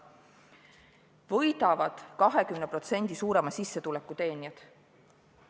Võidavad 20% suurema sissetuleku teenijaid.